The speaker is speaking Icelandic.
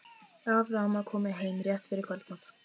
Amma og afi komu heim rétt fyrir kvöldmat.